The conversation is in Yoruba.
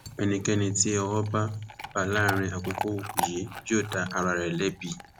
ẹnikẹni tí owó bá bá láàrin àwọn àkókò yìí yóò dá ara rẹ lẹbi